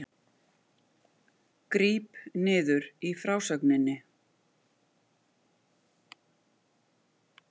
Gríp niður í frásögninni